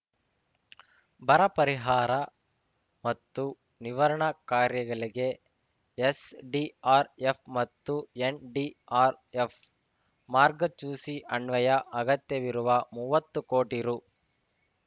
ಬರ ಪರಿಹಾರ ಮತ್ತು ನಿವರ್ಣಾ ಕಾರ್ಯಗಳಿಗೆ ಎಸ್ಡಿಆರ್ಎಫ್ ಮತ್ತು ಎನ್ಡಿಆರ್ಎಫ್ ಮಾರ್ಗಚೂಸಿ ಅನ್ವಯ ಅಗತ್ಯವಿರುವ ಮುವ್ವತ್ತು ಕೋಟಿ ರೂ